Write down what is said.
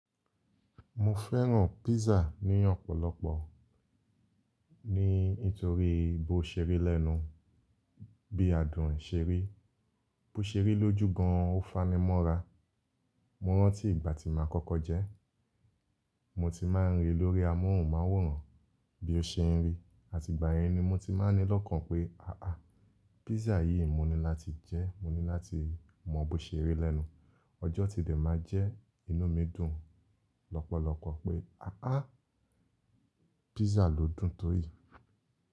Mo fẹ́ràn písà ní ọ̀pọ̀lọpọ̀, ní nítorí bó ṣeri lẹ́nu, bí adùn ṣé rí, bó ṣeri lójú gan an ó fani mọ́ra. Mo rántí ìgbà tí màá kọ́kọ́ jẹ́, mo ti máa ń rí i lórí amóhùnmáwòrán bí ó ṣe ń rí, àti ìgbà yẹn ni mo ti máa ni lọ́kàn pé aà, písà yìí mo ní láti jẹ́, mo ní láti mọ bó ṣeri lẹ́nu. Ọjọ́ ti n dẹ̀ máa jẹ́, inú mi dùn lọ́pọ̀lọpọ̀ pé àà, písà ló dùn tó yìí.